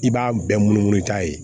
I b'a bɛɛ munu munu ta ye